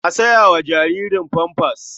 A sa wa jaririn famfas.